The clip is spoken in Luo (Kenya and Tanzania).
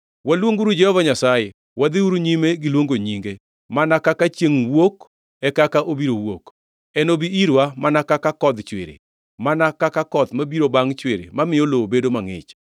Waluonguru Jehova Nyasaye; wadhiuru nyime gi luongo nyinge. Mana kaka chiengʼ wuok, e kaka obiro wuok; enobi irwa mana ka kodh chwiri, mana ka koth mabiro bangʼ chwiri mamiyo lowo bedo mangʼich.”